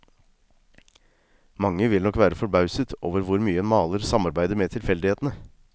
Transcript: Mange vil nok være forbauset over hvor mye en maler samarbeider med tilfeldighetene.